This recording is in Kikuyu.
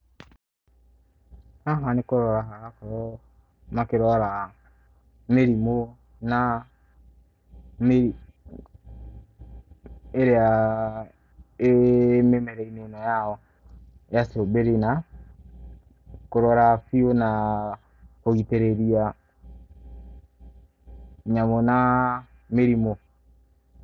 Haha nĩ kũrora harakorwo makĩrora mĩrimũ na ĩrĩa ĩ mĩmera-inĩ ĩno yao ya strawberry na kũrora biũ na kũgitĩrĩria nyamũ na mĩrimũ.